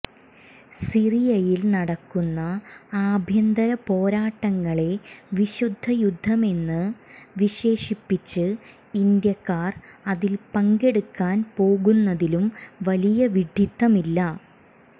സിറിയയിൽ നടക്കുന്ന ആഭ്യന്തര പോരാട്ടങ്ങളെ വിശുദ്ധ യുദ്ധമെന്ന് വിശേഷിപ്പിച്ച് ഇന്ത്യക്കാർ അതിൽ പങ്കെടുക്കാൻ പോകുന്നതിലും വലിയ വിഡ്ഢിത്തമില്ല